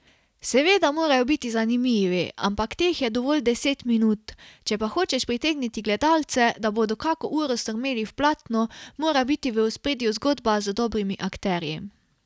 Seveda morajo biti zanimivi, ampak teh je dovolj deset minut, če pa hočeš pritegniti gledalce, da bodo kako uro strmeli v platno, mora biti v ospredju zgodba z dobrimi akterji.